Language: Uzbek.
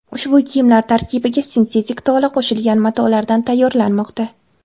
Ushbu kiyimlar tarkibiga sintetik tola qo‘shilgan matolardan tayyorlanmoqda.